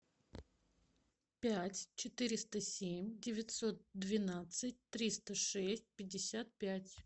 пять четыреста семь девятьсот двенадцать триста шесть пятьдесят пять